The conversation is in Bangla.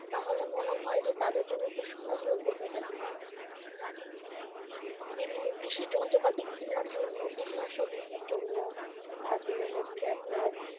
তাহলে মনে হয় যে তাদের জন্য একটু সহজ লভ্য হবে। বিভিন্ন কৃষি যন্ত্র পাতি কিনার জন্য কীটনাশক কিনার জন্য তারপরে হচ্ছে আপনার,